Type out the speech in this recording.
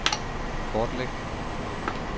kortlæg